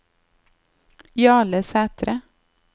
Jarle Sæthre